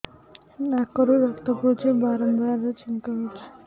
ନାକରୁ ରକ୍ତ ପଡୁଛି ବାରମ୍ବାର ଛିଙ୍କ ହଉଚି